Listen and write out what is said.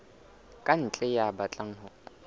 ka ntle ya batlang ho